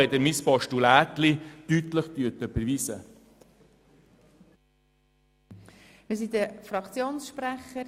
Vielen Dank für eine deutliche Überweisung von meinem «Postulätli»!